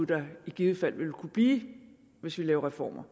der i givet fald vil kunne blive hvis vi laver reformer